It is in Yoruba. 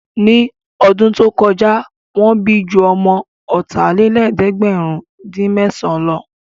Ní ọdún tó kọjá, Wọ́n bí ju ọmọ ọ̀tàlélẹ̀ẹ̀dẹ́gbèrin-dín-mẹ́san lọ